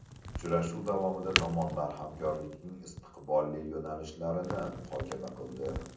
Uchrashuv davomida tomonlar hamkorlikning istiqbolli yo‘nalishlarini muhokama qildi.